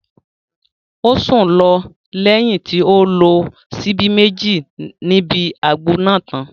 Ó sùn lọ lẹ́yìn tí ó lo síbí Méjì níbi àgbo náà tán